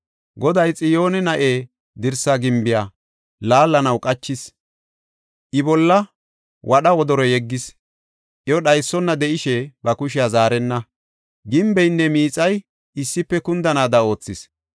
Goday Xiyooni na7e dirsa gimbiya, laallanaw qachis; I bolla wadha wodoro yeggis. Iyo dhaysona de7ishe ba kushiya zaarenna; gimbeynne miixay issife kundanaada oothis.